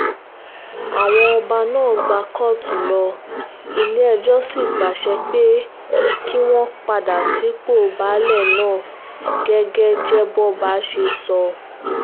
àwọn ọba náà gbá kóòtù lọ ilé-ẹjọ́ sì pàṣẹ pé kí wọ́n padà sípò baálé ná gẹ́gẹ́ jẹ́bọ́ba ṣe sọ